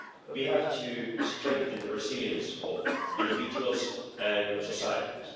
We have to strengthen the resilience of individuals and societies.